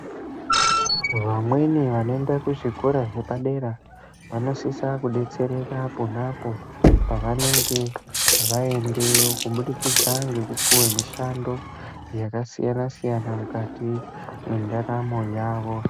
Vamweni vanoenda kuzvikora zvepadera vanosise kudetsereka ponapo pevanenge vaendeyo, kubudikidza ngekupiwa mishando yakasiyana-siyana mukati mendaramo yavo.